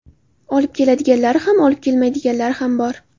Olib keladiganlari ham, olib kelmaydiganlari ham bor.